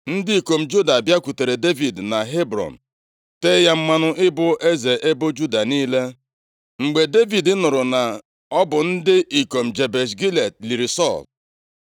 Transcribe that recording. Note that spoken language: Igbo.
Ndị ikom Juda bịakwutere Devid na Hebrọn. Tee ya mmanụ ịbụ eze ebo Juda niile. Mgbe Devid nụrụ na ọ bụ ndị ikom Jebesh Gilead liri Sọl,